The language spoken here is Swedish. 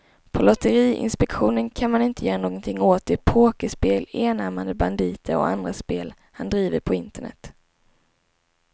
På lotteriinspektionen kan man inte göra någonting åt de pokerspel, enarmade banditer och andra spel han driver på internet.